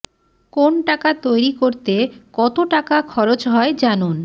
কোন টাকা তৈরি করতে কত টাকা খরচ হয় জানুন